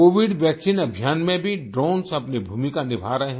Covid vaccine अभियान में भी ड्रोन्स अपनी भूमिका निभा रहे हैं